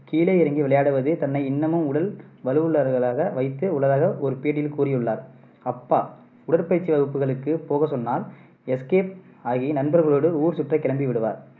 கீழே இறங்கி விளையாடுவது தன்னை இன்னமும் உடல் வலுவுள்ளவராக வைத்து உள்ளதாக ஒரு பேட்டியில் கூறியுள்ளார். அப்பா உடற்பயிற்சி வகுப்புகளுக்கு போக சொன்னால் escape ஆகி நண்பர்களோடு ஊர் சுற்ற கிளம்பி விடுவார்